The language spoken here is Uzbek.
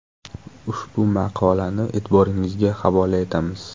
Ushbu maqolani e’tiboringizga havola etamiz.